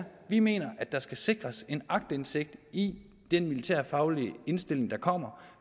vi mener at der skal sikres en aktindsigt i den militærfaglige indstilling der kommer